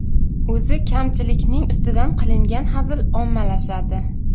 O‘zi kamchilikning ustidan qilingan hazil ommalashadi.